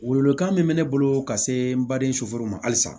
Welewelekan min bɛ ne bolo ka se n baden soforo ma halisa